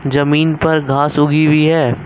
जमीन पर घास उगी हुई है।